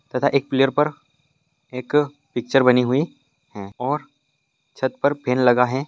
तथा एक पिल्लर पर एक पिक्चर बनी हुई है और छत पर फेन लगा है।